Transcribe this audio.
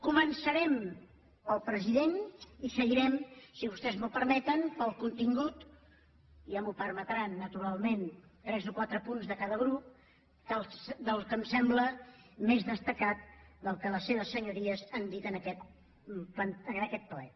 començarem pel president i seguirem si vostès m’ho permeten pel contingut ja m’ho permetran naturalment tres o quatre punts de cada grup del que em sembla més destacat del que les seves senyories han dit en aquest ple